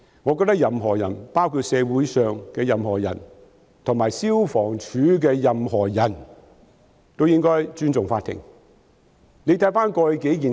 我覺得任何人，包括社會上任何人及消防處的任何人，均應該尊重法庭。